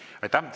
Aitäh!